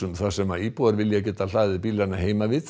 þar sem íbúar vilja getað hlaðið bílana heima við